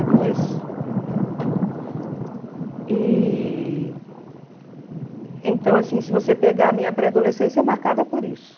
E então, assim, se você pegar a minha pré-adolescência, é marcada por isso.